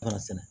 Tura sɛnɛ